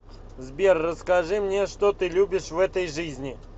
сбер расскажи мне что ты любишь в этой жизни